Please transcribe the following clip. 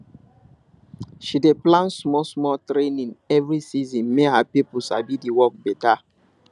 she dey plan smallsmall training every season make her people sabi the work better